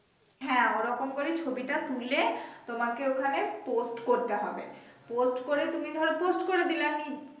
হ্যা ওরকম করেই ছবি টা তুলে তোমাকে ওখানে post করতে হবে post করে তুমি ধরো post করে দিলেনি